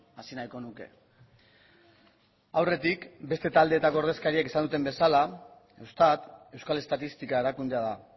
hasi nahiko nuke aurretik beste taldeetako ordezkariek esan duten bezala eustat euskal estatistika erakundea da